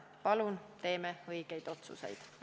Palun teeme õigeid otsuseid!